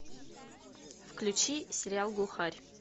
включи сериал глухарь